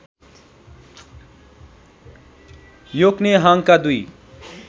योक्नेहाङका दुई